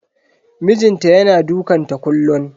Mijin ta yana dukanta kullun.